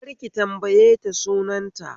Kar ki tambaye ta sunan ta